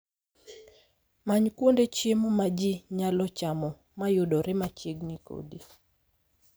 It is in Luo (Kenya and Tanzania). Many kuonde chiemo ma ji nyalo chamo ma yudore machiegni kodi